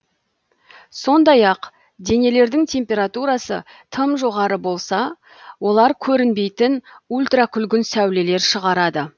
сондай ак денелердің температурасы тым жоғары болса олар көрінбейтін ультракүлгін сәулелер шығарады